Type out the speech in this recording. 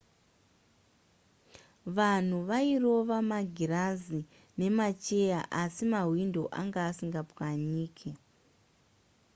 vanhu vairova magirazi nemacheya asi mahwindo anga asingapwanyike